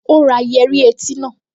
Ó ra yẹ́rí etí náà